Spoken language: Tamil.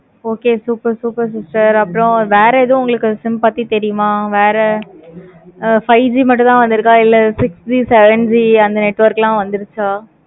okay super super sister அப்பறம் வேற எது sim பத்தி தெரியுமா? வேற five G மட்டும் தான் வந்துருக்க இல்ல six G seven G அந்த network லாம் வந்துருக்க?